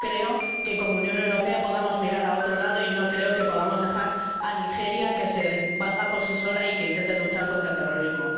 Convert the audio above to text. No creo que, como Unión Europea, podamos mirar a otro lado y no creo que podamos dejar a Nigeria que se valga por sí sola y que intente luchar contra el terrorismo.